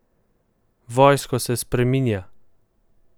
Vojsko se spreminja!